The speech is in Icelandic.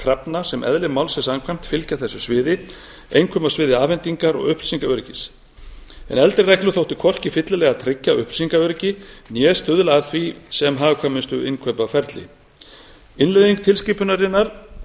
krafna sem eðli málsins samkvæmt fylgja þessu sviði einkum á sviði afhendingar og upplýsingaöryggis en eldri reglur þóttu hvorki fyllilega tryggja upplýsingaöryggi né stuðla að því sem hagkvæmustu innkaupaferli innleiðing tilskipunarinnar tvö